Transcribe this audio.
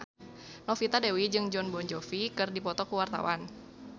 Novita Dewi jeung Jon Bon Jovi keur dipoto ku wartawan